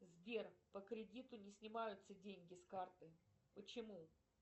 сбер по кредиту не снимаются деньги с карты почему